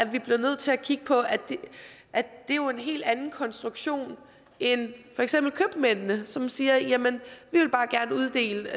vi bliver nødt til at kigge på at det jo er en helt anden konstruktion end for eksempel købmændene som siger jamen vi vil bare gerne uddele